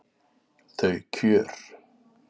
Þau kjör